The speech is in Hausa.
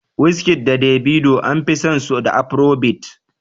Wizkid da Davido an fi san su da afiro bit